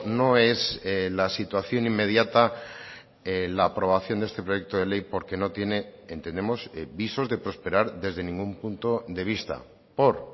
no es la situación inmediata la aprobación de este proyecto de ley porque no tiene entendemos visos de prosperar desde ningún punto de vista por